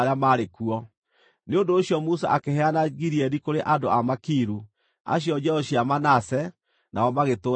Nĩ ũndũ ũcio Musa akĩheana Gileadi kũrĩ andũ a Makiru, acio njiaro cia Manase, nao magĩtũũra kuo.